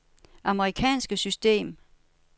amerikansk system